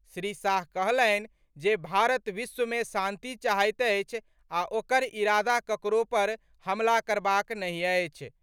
श्री शाह कहलनि जे भारत विश्व मे शांति चाहैत अछि आ ओकर इरादा ककरो पर हमला करबाक नहि अछि।